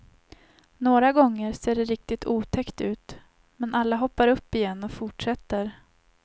Några gånger ser det riktigt otäckt ut men alla hoppar upp igen och fortsätter.